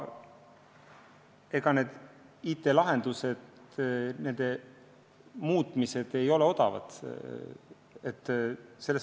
Ega IT-lahenduste muutmine ei ole odav.